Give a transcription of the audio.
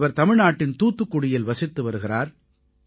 இவர் தமிழ்நாட்டின் தூத்துக்குடியில் வசித்து வருகிறார்